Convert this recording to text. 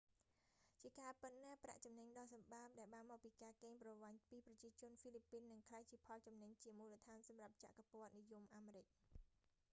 ជាការពិតណាស់ ប្រាក់ចំណេញដ៏សម្បើមដែលបានមកពីការកេងប្រវ័ញ្ចពីប្រជាជនហ្វីលីពីននឹងក្លាយជាផលចំណេញជាមូលដ្ឋានសម្រាប់ចក្រពត្តិនិយមអាមេរិក